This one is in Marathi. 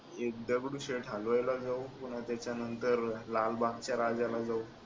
एक दगडूशेठ हलवाई ला जाऊ पुन्हा त्याच्यानंतरला लबागच्या राजाला जाऊया.